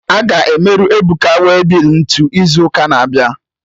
Aga emerụ Ebuka waybill ntụ izu ụka na-abịa?